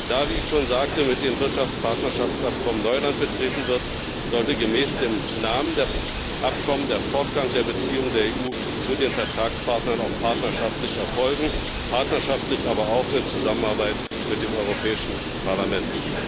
Da, wie ich schon sagte, mit den Wirtschaftspartnerschaftsabkommen Neuland betreten wird, sollte gemäß dem Namen der Abkommen der Fortgang der Beziehungen der EU zu den Vertragspartnern auch partnerschaftlich erfolgen partnerschaftlich, aber auch in Zusammenarbeit mit dem Europäischen Parlament.